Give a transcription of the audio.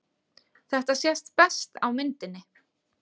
Þetta sést best á myndinni.